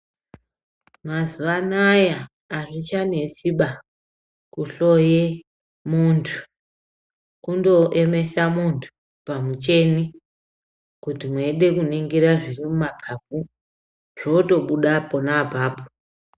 Mazuva anaya azvichanetsiba kuhloye muntu kundoemesa muntu pamuchini kuti mweide kuningira zviri mumapapu zvinotobuda pona apapo.